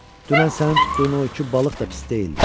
Dünən sənin tutduğun o iki balıq da pis deyildi.